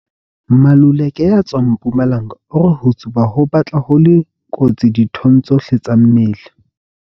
Maluleke ya tswang Mpumalanga o re ho tsuba ho batla ho le kotsi dithong tsohle tsa mmele.